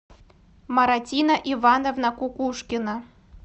маратина ивановна кукушкина